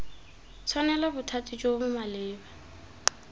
tshwanela bothati jo bo maleba